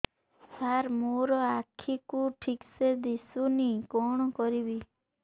ସାର ମୋର ଆଖି କୁ ଠିକସେ ଦିଶୁନି କଣ କରିବି